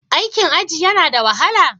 Aikin aji yana da wahala?